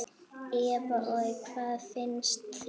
Eva: Og hvað finnst þér?